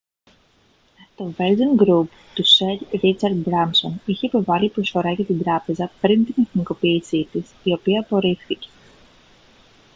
το virgin group του σερ ρίτσαρντ μπράνσον είχε υποβάλει προσφορά για την τράπεζα πριν την εθνικοποίηση της η οποία απορρίφθηκε